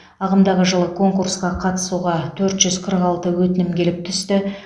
ағымдағы жылы конкурсқа қатысуға төрт жүз қырық алты өтінім келіп түсті